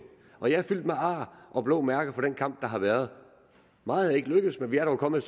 og jeg er fyldt med ar og blå mærker fra den kamp der har været meget er ikke lykkedes men vi er dog kommet